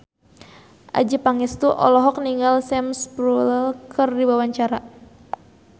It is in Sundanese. Adjie Pangestu olohok ningali Sam Spruell keur diwawancara